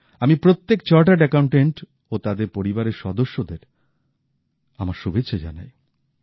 আমি প্রত্যেক chartered accountant ও তাদের পরিবারের সদস্যদের আমার শুভেচ্ছা জানাই